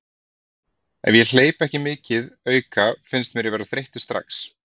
Ef ég hleyp ekki mikið auka finnst mér ég vera þreyttur strax.